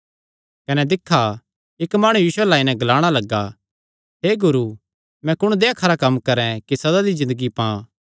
कने दिक्खा इक्क माणु यीशु अल्ल आई नैं ग्लाणा लग्गा हे गुरू मैं कुण देहया खरा कम्म करैं कि सदा दी ज़िन्दगी पां